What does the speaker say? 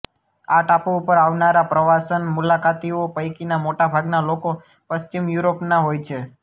આ ટાપુ ઉપર આવનારા પ્રવાસન મુલાકાતીઓ પૈકીના મોટાભાગના લોકો પશ્ચિમ યુરોપના હોય છે